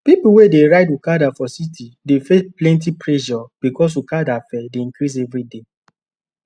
people wey dey ride okada for city dey face plenty pressure because okada fare dey increase every day